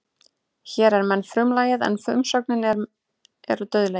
Hér er menn frumlagið en umsögnin er eru dauðlegir.